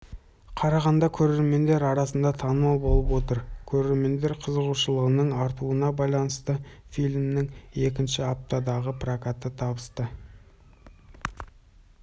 қарағанда көрермендер арасында танымал болып отыр көрермендер қызығушылының артуына байланысты фильмнің екінші аптадағы прокаты табысты